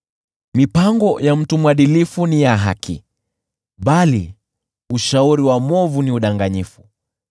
Mipango ya mtu mwadilifu ni ya haki, bali ushauri wa mwovu ni udanganyifu.